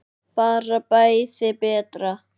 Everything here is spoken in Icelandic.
Bara bæði betra.